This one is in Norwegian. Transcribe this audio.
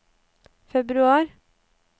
februar